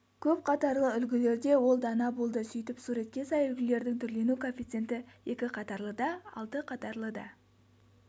көпқатарлы үлгілерде ол дана болды сөйтіп суретке сай үлгілердің түрлену коэффициенті екі қатарлыда алты қатарлыда